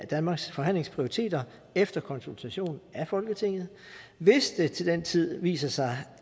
danmarks forhandlingsprioriteter efter konsultation af folketinget hvis det til den tid viser sig